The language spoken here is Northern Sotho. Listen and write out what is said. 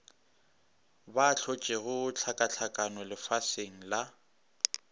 ba hlotšego hlakahlakano lefaseng la